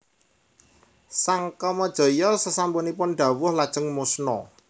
Sang Kamajaya sasampunipun dawuh lajeng musna